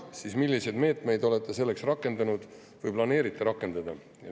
Kui jah, siis milliseid meetmeid olete selleks rakendanud või planeerite rakendada?